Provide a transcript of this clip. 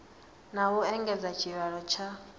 na u engedza tshivhalo tsha